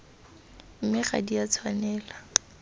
mme ga di a tshwanela